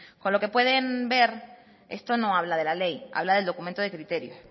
con lo que pueden ver esto no habla de la ley habla del documento de criterios